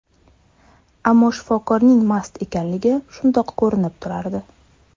Ammo shifokorning mast ekanligi shundoq ko‘rinib turardi.